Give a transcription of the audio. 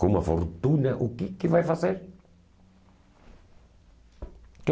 Com uma fortuna, o que que vai fazer?